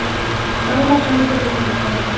Sálmasöngur úr hulduheimum